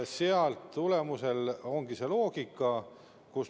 Sealt tulenebki see loogika.